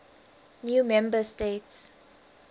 new member states